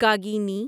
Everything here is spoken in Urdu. کاگنیی